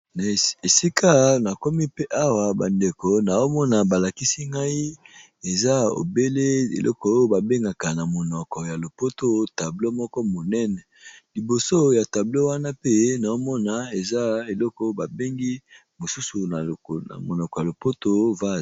Esika namoni awa nazomona balakisi ngai eza obele oyo babengaka na monoko ya lopoto tableau moko ya monene